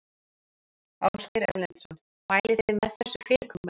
Ásgeir Erlendsson: Mælið þið með þessu fyrirkomulagi?